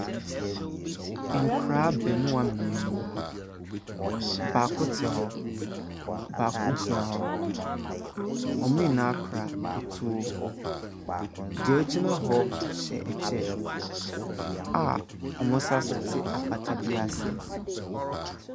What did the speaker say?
Nkwadaa abaamua mmienu, baako te hɔ, baako gyina hɔ. wɔn nyinaa kura atuo, deɛ ogyina hɔ hyɛ kyɛ a wɔsan so te apata bi ase.